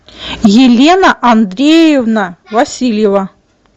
елена андреевна васильева